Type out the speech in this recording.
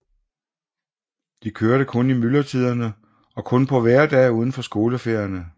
De kørte kun i myldretiderne og kun på hverdage uden for skoleferierne